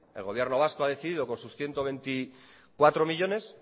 el gobierno vasco ha decidido con sus ciento veinticuatro millónes